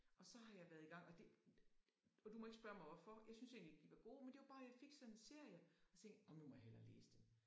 Og så har jeg været i gang og det og du må ikke spørge mig hvorfor jeg syntes egentlig ikke de var gode men det var bare jeg fik sådan en serie og så tænkte nu må jeg hellere læse dem